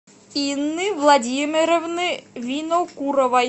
инны владимировны винокуровой